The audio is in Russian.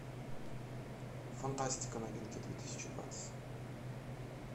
фантастика новинки две тысячи двадцать